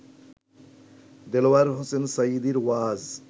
দেলোয়ার হোসেন সাঈদীর ওয়াজ